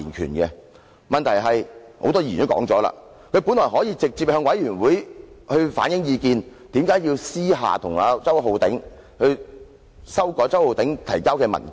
很多議員都發表了意見，問題是他本來可以直接向專責委員會反映意見，為何要私下找周浩鼎議員，修改其提交的文件？